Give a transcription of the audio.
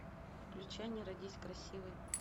включай не родись красивой